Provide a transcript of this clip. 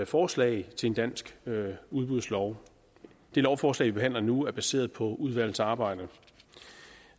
forslag til en dansk udbudslov det lovforslag vi behandler nu er baseret på udvalgets arbejde